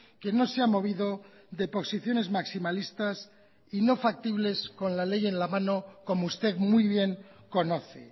que no se ha movido de posiciones maximalistas y no factibles con la ley en la mano como usted muy bien conoce